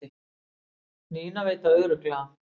Nína veit það örugglega